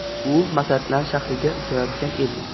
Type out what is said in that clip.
U Masatlan shahriga uchayotgan edi.